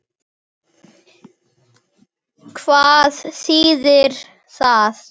Hvað þýðir það?